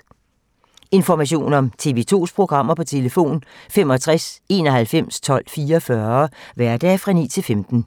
Information om TV 2's programmer: 65 91 12 44, hverdage 9-15.